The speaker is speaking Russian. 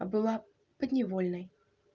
а была подневольной